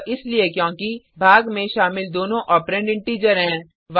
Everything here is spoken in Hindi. यह इसलिए क्योंकि भाग में शामिल दोनों ओपरेंड इंटिजर हैं